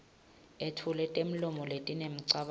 etfule temlomo letinemicabango